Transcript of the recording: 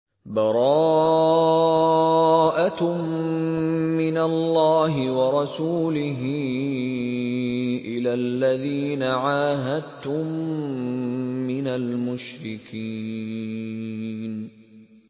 بَرَاءَةٌ مِّنَ اللَّهِ وَرَسُولِهِ إِلَى الَّذِينَ عَاهَدتُّم مِّنَ الْمُشْرِكِينَ